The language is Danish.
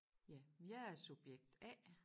Ja men jeg er subjekt A